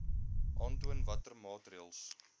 aantoon watter maatreëls